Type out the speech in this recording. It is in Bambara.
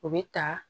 O bɛ ta